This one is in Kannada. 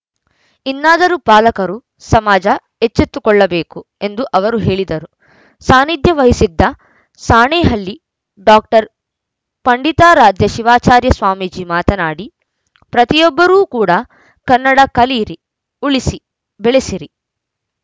ಇನ್ನಾದರೂ ಪಾಲಕರು ಸಮಾಜ ಎಚ್ಚೆತ್ತುಕೊಳ್ಳಬೇಕು ಎಂದು ಅವರು ಹೇಳಿದರು ಸಾನಿಧ್ಯ ವಹಿಸಿದ್ದ ಸಾಣೇಹಳ್ಳಿ ಡಾಕ್ಟರ್ ಪಂಡಿತಾರಾಧ್ಯ ಶಿವಾಚಾರ್ಯ ಸ್ವಾಮೀಜಿ ಮಾತನಾಡಿ ಪ್ರತಿಯೊಬ್ಬರೂ ಕೂಡಾ ಕನ್ನಡ ಕಲಿಯಿರಿ ಉಳಿಸಿ ಬೆಳೆಸಿರಿ